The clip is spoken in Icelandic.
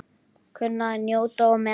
Kunni að njóta og meta.